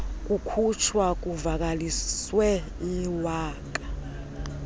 kukhutshwa kuvakaliswe iwaka